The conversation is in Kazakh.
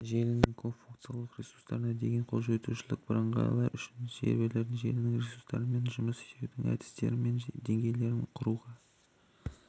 желінің көпфункционалды ресурстарына деген қолжетушілікті бірыңғайлау үшін серверлері желінің ресурстарымен жұмыс істеудің әдістері мен деңгейлерін құруға